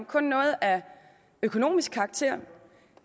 kun er af økonomisk karakter